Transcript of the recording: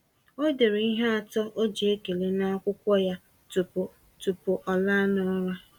Ọ dere ihe atọ o ji ekele n’akwụkwọ ya tupu tupu ọ laa n’ụra.